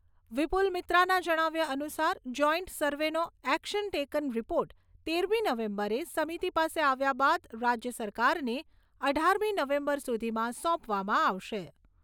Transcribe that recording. વિપુલ મિત્રાના જણાવ્યા અનુસાર, જોઈન્ટ સર્વેનો "એક્શન ટેકન રીપોર્ટ" તેરમી નવેમ્બરે સમિતી પાસે આવ્યા બાદ, રાજ્ય સરકારને અઢારમી નવેમ્બર સુધીમાં સોંપવામાં આવશે.